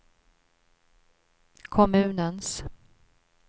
kommunens